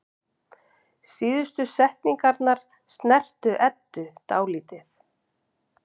Síðustu setningarnar snertu Eddu dálítið.